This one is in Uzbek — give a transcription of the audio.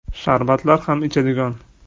Sharbatlar ham ichadigan.